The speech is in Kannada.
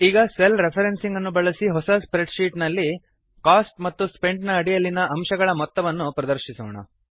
ಈಗ ಸೆಲ್ ರೆಫ್ರೆನ್ಸಿಂಗ್ ಅನ್ನು ಬಳಸಿ ಹೊಸ ಸ್ಪ್ರೆಡ್ ಶೀಟ್ ನಲ್ಲಿ ಕೋಸ್ಟ್ ಮತ್ತು ಸ್ಪೆಂಟ್ ನ ಅಡಿಯಲ್ಲಿನ ಅಂಶಗಳ ಮೊತ್ತವನ್ನು ಪ್ರದರ್ಶಿಸೋಣ